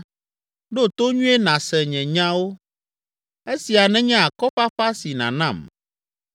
“Ɖo to nyuie nàse nye nyawo, esia nenye akɔfafa si nànam.